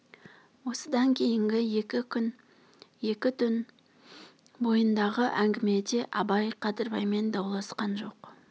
осыдан кейінгі екі күн екі түн бойындағы әңгімеде абай қадырбаймен дауласқан жоқ